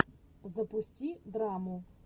запусти драму